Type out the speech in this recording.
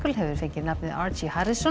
hefur fengið nafnið